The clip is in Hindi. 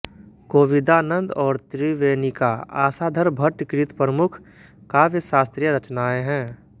कोविदानन्द और त्रिवेणिका आशाधर भट्ट कृत प्रमुख काव्यशास्त्रीय रचनाएँ है